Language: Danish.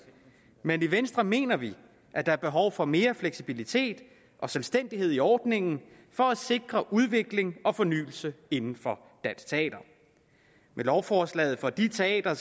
men i venstre mener vi at der er behov for mere fleksibilitet og selvstændighed i ordningen for at sikre udvikling og fornyelse inden for dansk teater med lovforslaget får de teatre